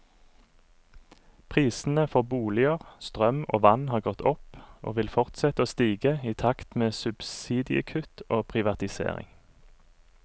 Prisene for boliger, strøm og vann har gått opp, og vil fortsette å stige i takt med subsidiekutt og privatisering.